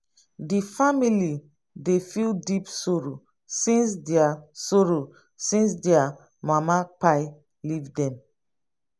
di family dey feel deep sorrow since their sorrow since their mama kpai leave dem